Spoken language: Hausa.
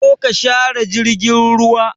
Zo ka share jirgin ruwa!